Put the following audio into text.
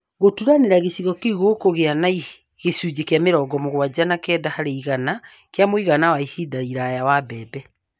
Gũturanĩra, gĩcigo kĩu gĩkũgĩa na gĩcunjĩ kĩa mĩrongo mũgwanja na kenda harĩ igana kĩa muigana wa ihinda iraya wa mbembe